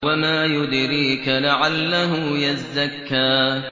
وَمَا يُدْرِيكَ لَعَلَّهُ يَزَّكَّىٰ